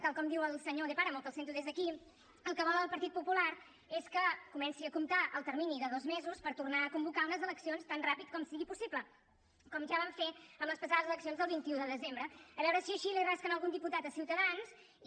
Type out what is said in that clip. tal com diu el senyor de páramo que el sento des d’aquí el que vol el partit popular és que comenci a comptar el termini de dos mesos per tornar a convocar unes eleccions tan ràpid com sigui possible com ja van fer amb les passades eleccions del vint un de desembre a veure si així li rasquen algun diputat a ciutadans i